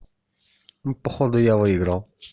ну походу я выиграл